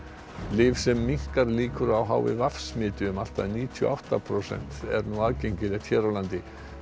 lyf sem minnkar líkur á h i v smiti um allt að níutíu og átta prósent er nú aðgengilegt hér á landi